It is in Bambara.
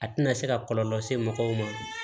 A tɛna se ka kɔlɔlɔ lase mɔgɔw ma